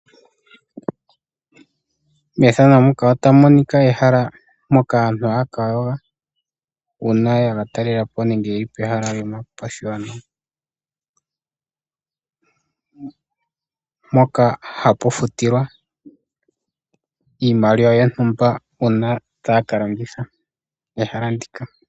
Methano ndika otamu monika ehala moka aantu haya kayoga. Uuna ya ka talelapo nenge yeli pehala lyomapashiyono, mpoka hapu futilwa iimaliwa yontumba uuna taya ka landitha pehala ndika.